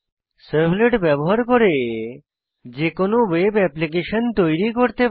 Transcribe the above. servlet ব্যবহার করে যে কোনো ওয়েব অ্যাপ্লিকেশন তৈরি করতে পারি